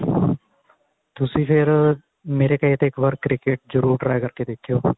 ਤੁਸੀਂ ਫੇਰ ਮੇਰੇ ਕਹੇ ਤੇ ਇੱਕ ਵਾਰ cricket ਜਰੁਰ try ਕਰ ਕੇ ਦੇਖਿਉ